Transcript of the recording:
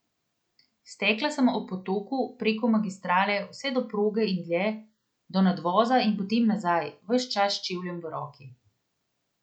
Stekla sem ob potoku, preko magistrale, vse do proge in dlje, do nadvoza in potem nazaj, ves čas s čevljem v roki.